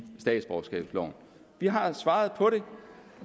statsborgerskabsloven vi har svaret på det